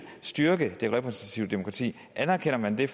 styrke det repræsentative demokrati anerkender man det